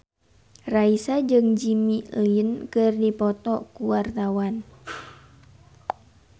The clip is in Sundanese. Raisa jeung Jimmy Lin keur dipoto ku wartawan